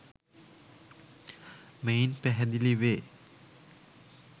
මෙයින් පැහැදිලි වේ.